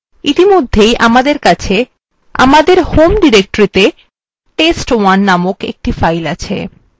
ইতিমধ্যে আমদের home ডিরেক্টরিতে test1 named একটি file named আছে